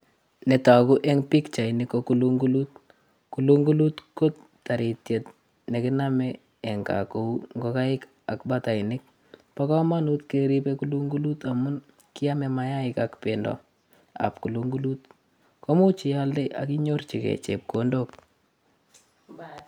Netoguu en pichaini, ko kulungunut, kulungunut ko taritiet nekiboe en gaa ak ingokaik ak batainik. Bo komonut keeribe kulungunut ngamun kiome mainikchik ak bendoo. Ak imuch ialdee ak inyorchigei chepkondook